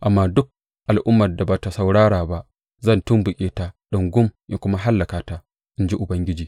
Amma duk al’ummar da ba tă saurara ba, zan tumɓuke ta ɗungum in kuma hallaka ta, in ji Ubangiji.